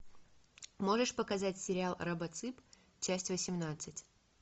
можешь показать сериал робоцып часть восемнадцать